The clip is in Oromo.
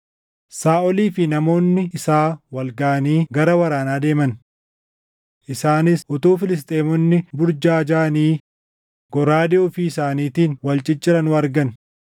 Saaʼolii fi namoonni isaa wal gaʼanii gara waraanaa deeman. Isaanis utuu Filisxeemonni burjaajaʼanii goraadee ofii isaaniitiin wal cicciranuu argan.